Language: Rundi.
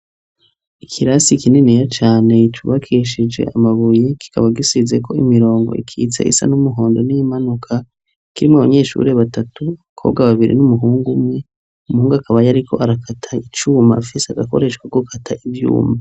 Ikirasi kininiya cane cubakishije amabuye kikaba gisizeko imirongo ikitse isa n'umuhondo n'iyimanuka kirimwo abanyeshuri batatu, abakobwa babiri n'umuhungu umwe. Umuhungu akaba yariko arakata icuma afise agakoresho ko gukata ivyuma.